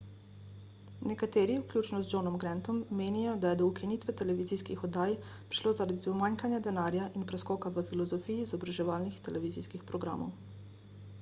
nekateri vključno z johnom grantom menijo da je do ukinitve televizijskih oddaj prišlo zaradi pomanjkanja denarja in preskoka v filozofiji izobraževalnih televizijskih programov